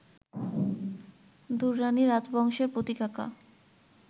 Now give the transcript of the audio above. দুররানি রাজবংশের প্রতীক আঁকা